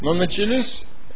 но начались